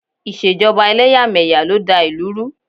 Ìṣèjọba ẹlẹ́yàmẹ̀yà ló da ìlú rú